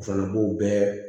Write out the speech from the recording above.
O fana b'o bɛɛ